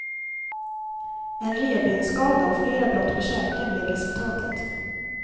En revbensskada och flera brott på käken blev resultatet.